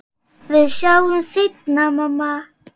Við sjáumst seinna, mamma.